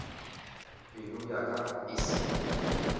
pelo ya ka e se